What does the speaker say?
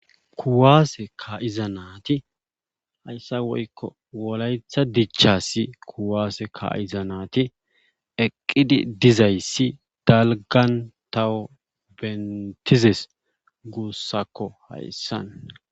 kuwaase kaa7ida naati hayssa woykko wolaytta dishassi kuwaase kaa7iza naati eqqidi dizayssi dalggan tawu beettizes guusakko hayssan.